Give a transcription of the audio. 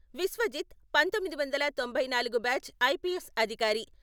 విశ్వజిత్ పంతొమ్మిది వందల తొంభై నాలుగు బ్యాచ్ ఐపీఎస్ అధికారి.